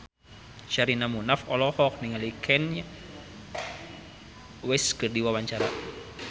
Sherina Munaf olohok ningali Kanye West keur diwawancara